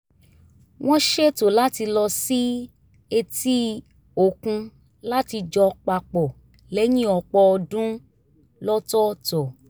wọ́n ṣètò láti lọ sí etí-òkun láti jọ pa pọ̀ lẹ́yìn ọ̀pọ̀ ọdún lọ́tọ̀ọ̀tọ̀